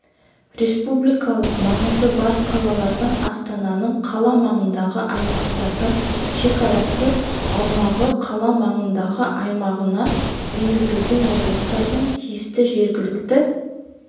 республикалық маңызы бар қалалардың астананың қала маңындағы аймақтарының шекарасы аумағы қала маңындағы аймағына енгізілген облыстардың тиісті жергілікті